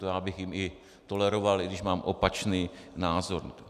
To já bych jim i toleroval, i když mám opačný názor.